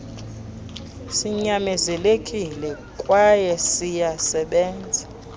sinyanzelekile kwayw siyasebenza